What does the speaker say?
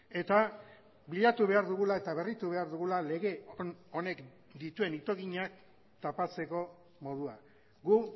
eta bilatu behar dugula eta berritu behar dugula lege honek dituen itoginak tapatzeko modua gu